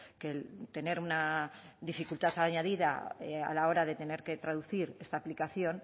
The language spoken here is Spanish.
que el tener una dificultad añadida a la hora de tener que traducir esta aplicación